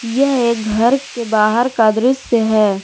यह एक घर के बाहर का दृश्य है।